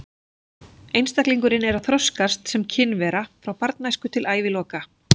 Einstaklingurinn er að þroskast sem kynvera frá barnæsku og til æviloka.